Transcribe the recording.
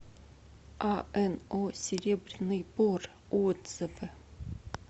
ано серебряный бор отзывы